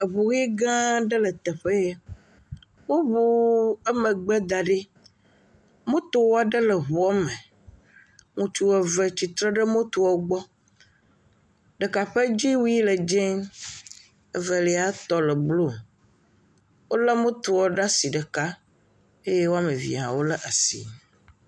Eʋu ɣi gã aɖe le teƒe ya. Woʋu emegbe da ɖi. Moto aɖe le eʋua me. Ŋutsu eʋe tsitre ɖe motoa gbɔ. Ɖeka ƒe dziwuie le dɛ, evelia tɔ le blu. Wole motoa ɖe asi ɖeka